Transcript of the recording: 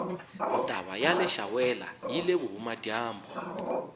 ntava yaleshawela yile vuhhumajambu